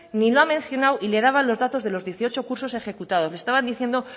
ni lo ha mencionado y le daba los datos de los dieciocho cursos ejecutados le estaba diciendo